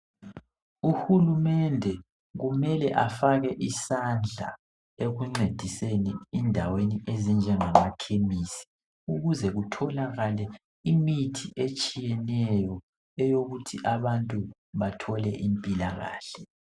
Uhulumende kumele afake isandla ,ekuncediseni endaweni ezinjengama khemisi. Ukuze kutholakale imithi etshiyeneyo eyokuthi abantu bathole impilakahle.